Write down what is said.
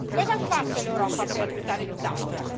Cosa ha fatto l'Europa per aiutare l'Italia?